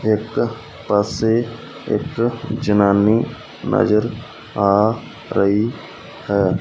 ਇੱਕ ਪਾਸੇ ਇੱਕ ਜਨਾਨੀ ਨਜ਼ਰ ਆ ਰਹੀ ਹੈ।